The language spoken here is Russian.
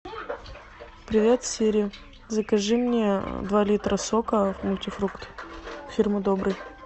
привет сири закажи мне два литра сока мультифрукт фирмы добрый